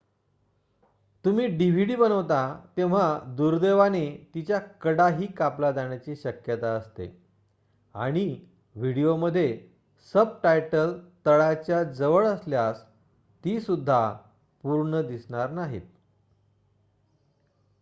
तुम्ही dvd बनवता तेव्हा दुर्दैवाने तिच्या कडाही कापल्या जाण्याची शक्यता असते आणि व्हिडीओमध्ये सबटायटल तळाच्या जवळ असल्यास ती सुद्धा पूर्ण दिसणार नाहीत